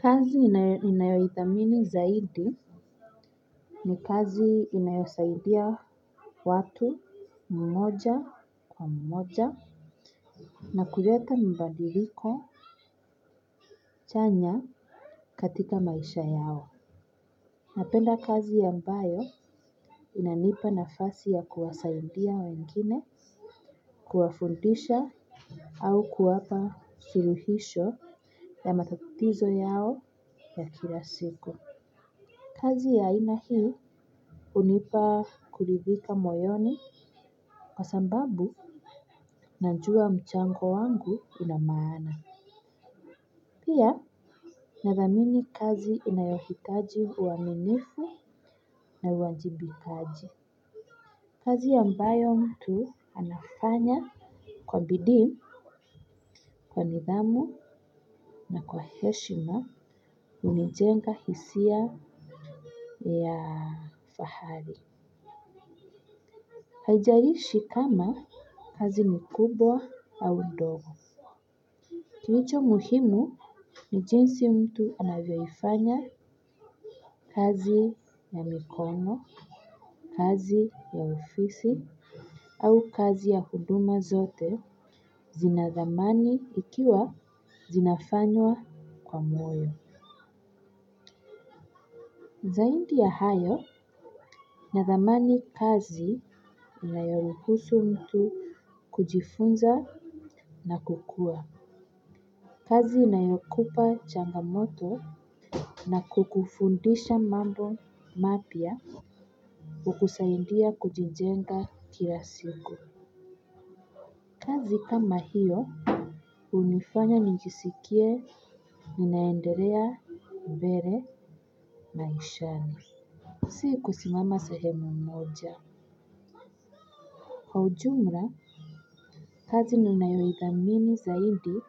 Kazi ninayo idhamini zaidi ni kazi inayosaidia watu mmoja kwa mmoja na kuleta mabandiliko chanya katika maisha yao. Napenda kazi ambayo inanipa nafasi ya kuwasaidia wengine, kuwafundisha au kuwapa suruhisho ya matatizo yao ya kila siku. Kazi ya aina hii hunipa kuridhika moyoni kwa sababu najua mchango wangu una maana. Pia nadhamini kazi inayohitaji uwaminifu na uwajimbikanji. Kazi ambayo mtu anafanya kwa bidii kwa nidhamu na kwa heshima hunijenga hisia ya fahali. Haijarishi kama kazi ni kubwa au ndogo. Kilicho muhimu ni jinsi mtu anavyoifanya kazi ya mikono, kazi ya ofisi, au kazi ya huduma zote zinathamani ikiwa zinafanywa kwa moyo. Zaidi ya hayo, nathamani kazi inayorukusu mtu kujifunza na kukua. Kazi inayokupa changamoto na kukufundisha mambo mapya hukusaidia kujijenga kila siku. Kazi kama hiyo hunifanya nijisikie ninaendelea mbele maishani. Si kusimama sahemu moja. Kwa ujumla kazi ninayoidhamini zaidi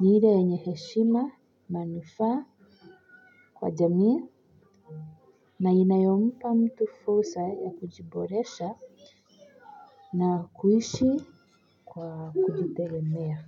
ni ile yenye heshima manufa kwa jamii. Na inayompa mtu fursa ya kujiboresha na kuishi kwa kujitengemea.